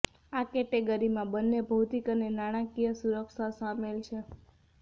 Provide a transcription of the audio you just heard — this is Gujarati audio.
આ કેટેગરીમાં બંને ભૌતિક અને નાણાકીય સુરક્ષા શામેલ છે